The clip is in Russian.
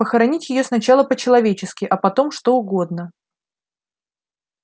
похоронить её сначала по-человечески а потом что угодно